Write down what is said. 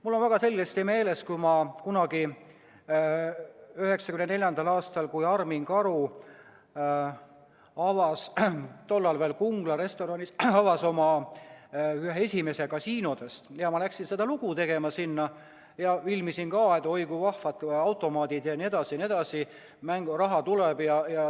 Mul on väga selgesti meeles, kuidas ma 1994. aastal, kui Armin Karu avas tollases Kungla restoranis ühe oma esimese kasiino, läksin sinna lugu tegema ja filmisin ka, et oi kui vahvad automaadid jne, mänguraha tuleb.